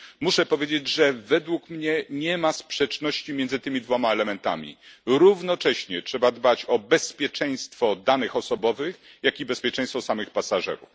Muszę powiedzieć, że według mnie nie ma sprzeczności między tymi dwoma elementami trzeba dbać równocześnie o bezpieczeństwo danych osobowych, jak i bezpieczeństwo samych pasażerów.